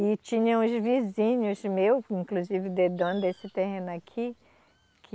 E tinha uns vizinhos meus, inclusive de dono desse terreno aqui, que...